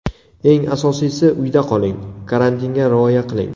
Eng asosiysi, uyda qoling, karantinga rioya qiling.